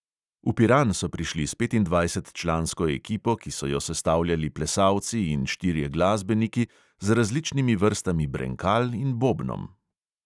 V piran so prišli s petindvajsetčlansko ekipo, ki so jo sestavljali plesalci in štirje glasbeniki z različnimi vrstami brenkal in bobnom.